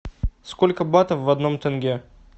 сколько батов в одном тенге